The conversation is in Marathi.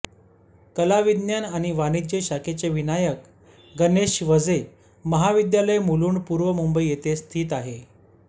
कलाविज्ञान आणि वाणिज्य शाखेचे विनायक गणेश वझे महाविद्यालय मुलुंड पूर्वमुंबई येथे स्थित आहे